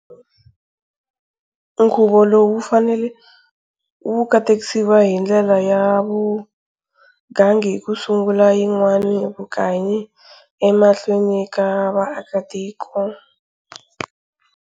Nkhuvu lowu wu fanele wukatekisiwa hi ndlela ya vugangi hi ku sungula yinwana vukanyi emahlweni ka vaakatiko.